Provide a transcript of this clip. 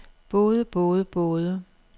både både både